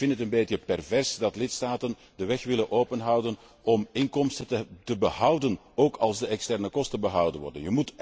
Het is een beetje pervers dat lidstaten de weg willen open houden om inkomsten te behouden, ook als de externe kosten behouden worden.